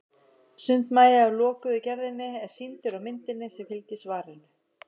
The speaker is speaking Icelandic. Sundmagi af lokuðu gerðinni er sýndur á myndinni sem fylgir svarinu.